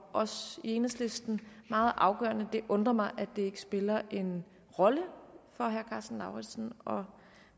os i enhedslisten meget afgørende det undrer mig at det ikke spiller en rolle for herre karsten lauritzen og